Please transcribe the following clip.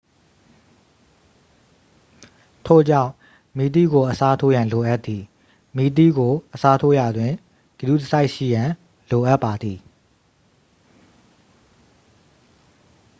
ထို့ကြောင့် မီးသီးကို အစားထိုးရန် လိုအပ်သည် မီးသီးကို အစားထိုးရာတွင် ဂရုတစိုက်ရှိရန် လိုအပ်ပါသည်